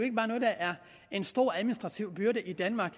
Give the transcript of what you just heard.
en stor administrativ byrde i danmark